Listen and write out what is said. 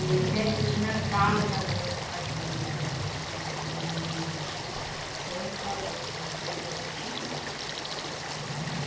E festa de Natal também que faziam assim, festa dos Reis, sempre faziam, na igreja a gente ia.